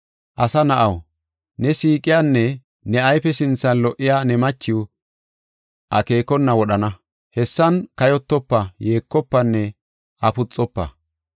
“Asa na7aw, ne siiqiyanne ne ayfe sinthan lo77iya ne machiw akeekona wodhana. Hessan kayotofa, yeekofanne afuxofa.